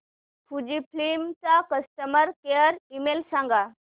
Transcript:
Fujifilm चा customer care email सांगा